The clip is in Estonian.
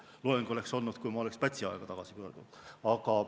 Loeng oleks olnud, kui ma oleks Pätsi aega tagasi pöördunud.